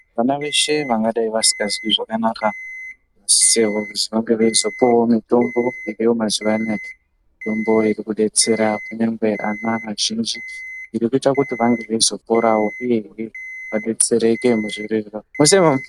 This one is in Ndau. Vana veshe vangadai vasikazwi zvakanaka vanisisire kuti vange veizopuwawo mitombo iriyo mazuwaanaya, mitombo irikudetsera kunyangwe ana azhinji, zvirikuita kuti vange veizoporawo uye adetsereke muzvirwere zvawo.